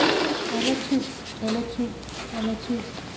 relativt relativt relativt